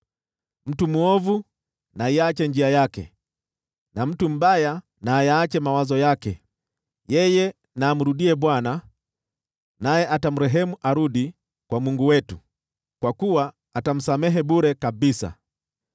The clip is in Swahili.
Mtu mwovu na aiache njia yake, na mtu mbaya na ayaache mawazo yake. Yeye na amrudie Bwana , naye atamrehemu, arudi kwa Mungu wetu, kwa kuwa atamsamehe bure kabisa.